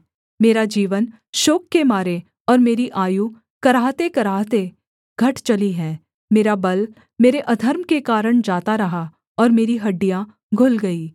मेरा जीवन शोक के मारे और मेरी आयु कराहतेकराहते घट चली है मेरा बल मेरे अधर्म के कारण जाता रहा ओर मेरी हड्डियाँ घुल गई